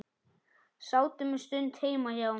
Sátum um stund heima hjá